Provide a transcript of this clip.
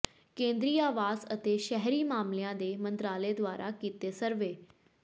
ਕੇਂਦਰੀ ਆਵਾਸ ਅਤੇ ਸ਼ਹਿਰੀ ਮਾਮਲਿਆਂ ਦੇ ਮੰਤਰਾਲੇ ਦੁਆਰਾ ਕੀਤੇ ਸਰਵੇ